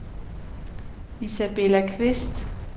Isabella Qvist